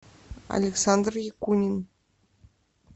александр якунин